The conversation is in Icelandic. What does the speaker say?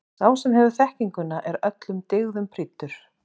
Sá sem hefur þekkinguna er öllum dygðum prýddur.